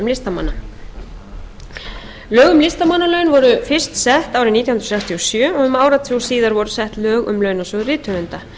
listamanna lög um listamannalaun voru fyrst sett árið nítján hundruð sextíu og sjö og um áratug síðar voru sett lög um launasjóð rithöfunda